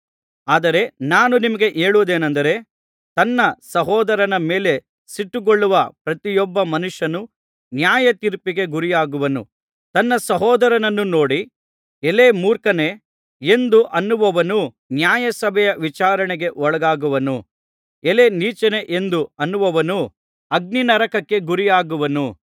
ಆದರೆ ನಾನು ನಿಮಗೆ ಹೇಳುವುದೇನಂದರೆ ತನ್ನ ಸಹೋದರನ ಮೇಲೆ ಸಿಟ್ಟುಗೊಳ್ಳುವ ಪ್ರತಿಯೊಬ್ಬ ಮನುಷ್ಯನು ನ್ಯಾಯತೀರ್ಪಿಗೆ ಗುರಿಯಾಗುವನು ತನ್ನ ಸಹೋದರನನ್ನು ನೋಡಿ ಎಲೈ ಮೂರ್ಖನೇ ಎಂದು ಅನ್ನುವವನು ನ್ಯಾಯ ಸಭೆಯ ವಿಚಾರಣೆಗೆ ಒಳಗಾಗುವನು ಎಲೈ ನೀಚನೇ ಎಂದು ಅನ್ನುವವನು ಅಗ್ನಿ ನರಕಕ್ಕೆ ಗುರಿಯಾಗುವನು